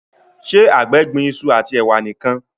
ṣe àgbè gbìn iṣu ati ewa nìkàn?